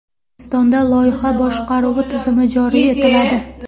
O‘zbekistonda loyiha boshqaruvi tizimi joriy etiladi.